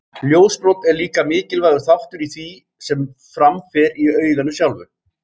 Ljósbrot er líka mikilvægur þáttur í því sem fram fer í auganu sjálfu.